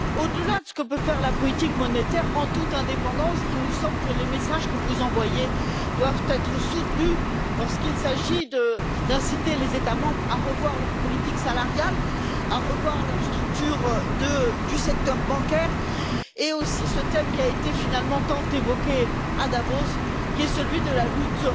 Au delà de ce que peut faire la politique monétaire en toute indépendance, il nous semble que les messages que vous envoyez doivent être soutenus lorsqu'il s'agit d'inciter les États membres à revoir leur politique salariale, à revoir leurs structures du secteur bancaire, et aussi ce thème qui a été finalement tant évoqué à Davos, qui est celui de la lutte